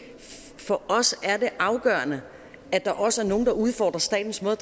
for os er afgørende at der også er nogle der udfordrer statens måde